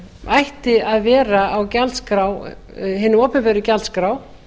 ætti að vera á hinni opinberu gjaldskrá